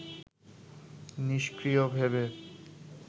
নিষ্ক্রিয় ভেবে